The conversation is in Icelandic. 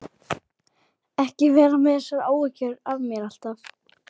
Ekki vera með þessar áhyggjur af mér alltaf!